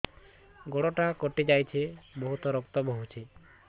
ଗୋଡ଼ଟା କଟି ଯାଇଛି ବହୁତ ରକ୍ତ ବହୁଛି